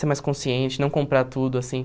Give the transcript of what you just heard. Ser mais consciente, não comprar tudo, assim.